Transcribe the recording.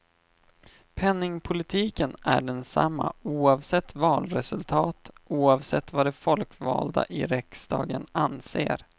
Penningpolitiken är densamma oavsett valresultat, oavsett vad de folkvalda i riksdagen anser.